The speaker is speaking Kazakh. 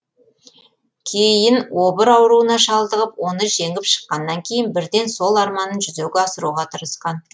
кейін обыр ауруына шалдығып оны жеңіп шыққаннан кейін бірден сол арманын жүзеге асыруға тырысқан